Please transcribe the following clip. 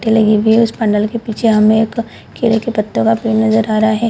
पंडाल के पीछे हमें एक केले के पत्तों का पेड़ नजर आ रहा है ।